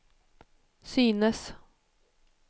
synes